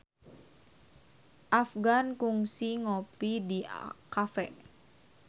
Afgan kungsi ngopi di cafe